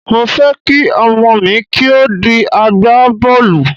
Mo fẹ́ kí ọmọ mi kí ó di agbá bọ́ọ̀lù.